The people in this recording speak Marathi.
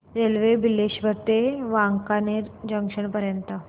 रेल्वे बिलेश्वर ते वांकानेर जंक्शन पर्यंत